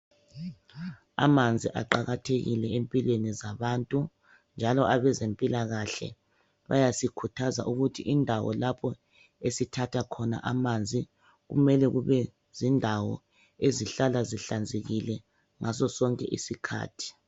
Amanzi aqakathekile empilweni zabantu njalo abezempilakahle bayasikhuthaza ukuthi indawo lapho esithatha khona amanzi kumele kube zindawo ezihlala zihlanzekile ngasosonke isikhathi.